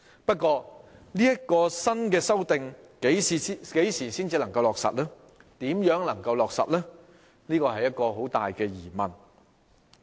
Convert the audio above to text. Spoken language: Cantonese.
不過，這項新修訂何時才能落實、如何落實是很大的疑問。